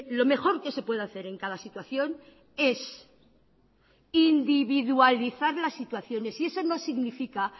lo mejor que se puede hacer en cada situación es individualizar la situación y eso no significa